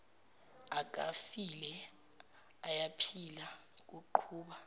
akafile uyaphila kuqhuba